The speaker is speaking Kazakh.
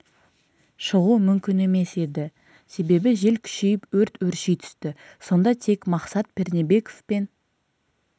шығу мүмкін емес еді себебі жел күшейіп өрт өрши түсті сонда тек мақсат пернебеков пен